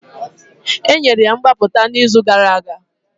Enyere ya mgbapụta n'izu gara aga